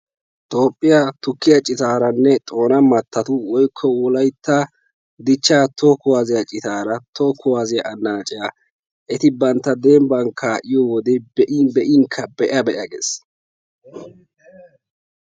Toophphiya tukkiya citaaranne xoona mattatu woykko wolaytta dichcha toho kuwaasiya citaara toho kuwaasiya annaaciya eti bantta dembban kaa'iyo wode be'in be'inkka be'a ges.